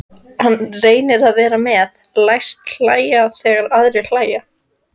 Hann reynir að vera með, læst hlæja þegar aðrir hlæja.